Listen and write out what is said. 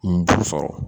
Nin juru sɔrɔ